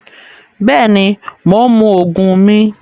Bẹẹni, Mo ń mú òògùn mì